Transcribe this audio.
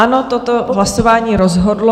Ano, toto hlasování rozhodlo...